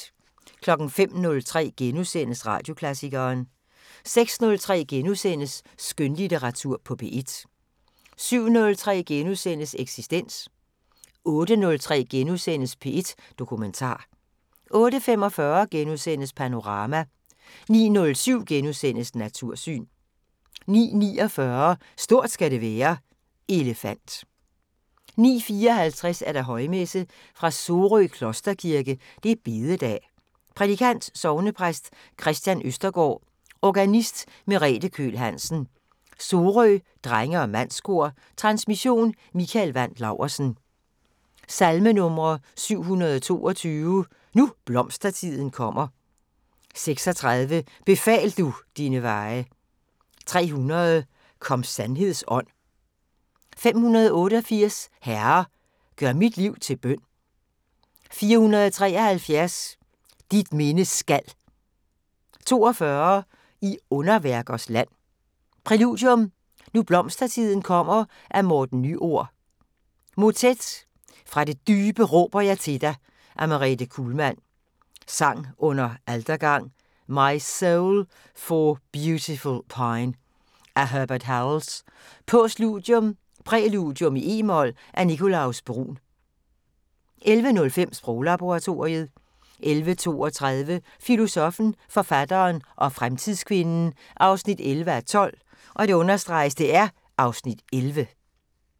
05:03: Radioklassikeren * 06:03: Skønlitteratur på P1 * 07:03: Eksistens * 08:03: P1 Dokumentar * 08:45: Panorama * 09:07: Natursyn * 09:49: Stort skal det være: Elefant 09:54: Højmesse - Fra Sorø Klosterkirke. Bededag. Prædikant: Sognepræst Kristian Østergaard. Organist: Merete Køhl Hansen. Sorø Drenge og Mandskor. Transmission: Mikael Wandt Laursen. Salmenumre: 722: "Nu blomstertiden kommer". 36: "Befal du dine veje". 300: "Kom sandheds Ånd". 588: "Herre, gør mit liv til bøn". 473: "Dit minde skal". 42: "I underværkers land". Præludium: "Nu blomstertiden kommer" af Morten Nyord. Motet: "Fra det dybe råber jeg til dig" af Merete Kuhlmann. Sang under altergang: "My soul for beauty pine" af Herbert Howells. Postludium: "Præludium i e-mol" af Nicolaus Bruhns. 11:05: Sproglaboratoriet 11:32: Filosoffen, forfatteren og fremtidskvinden 11:12 (Afs. 11)